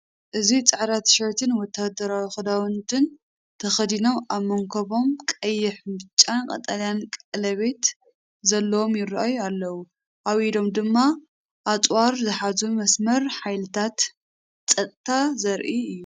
እዚ፡ ጻዕዳ ቲሸርትን ወተሃደራዊ ክዳውንትን ተኸዲኖም፡ ኣብ መንኵቦም ቀይሕ፡ ብጫን ቀጠልያን ቀለቤት ዘለዎም ይራኣዩ ኣለው። ኣብ ኢዶም ድማ ኣጽዋር ዝሓዙ መስመር ሓይልታት ጸጥታ ዘርኢ'ዩ።